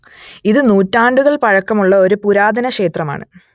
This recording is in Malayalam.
ഇതു നൂറ്റാണ്ടുകൾ പഴക്കം ഉള്ള ഒരു പുരാതന ക്ഷേത്രമാണ്